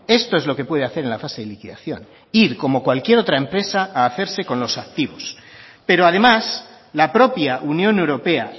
esto es lo que puede hacer en la fase de liquidación ir como cualquier otra empresa a hacerse con los activos pero además la propia unión europea